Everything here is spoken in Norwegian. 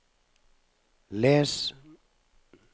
les